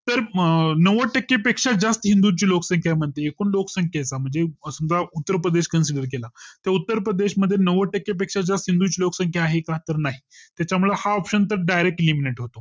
तर नव्वद टक्के पेक्षा जास्त हिंदूंची लोकसंख्या मध्ये एकूण लोकसंख्येचा म्हणजे समझा उत्तरप्रदेश consider केला तर उत्तरप्रदेश मध्ये नव्वद टक्के पेक्षा जास्त हिंदूंची लोकसंक्ख्या आहे का तर नाही त्याच्यामुळे हा option पण Direct eliminate होतो